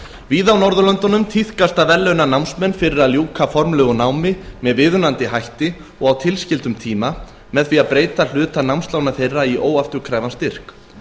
víða á norðurlöndunum tíðkast að verðlauna námsmenn fyrir að ljúka formlegu námi með viðunandi hætti og á tilskildum tíma með því að breyta hluta námslána þeirra í óafturkræfan styrk